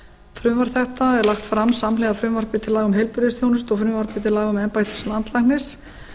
frumvarp þetta er lagt fram samhliða frumvarpi til laga um heilbrigðisþjónustu og frumvarpi til laga um embætti landlæknis